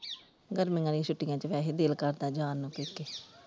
ਗਰਮੀਆਂ ਦੀਆਂ ਛੁਟੀਆਂ ਚ ਵੈਸੇ ਦਿਲ ਕਰਦਾ ਜਾਣ ਨੂੰ ਪੇਕੇ।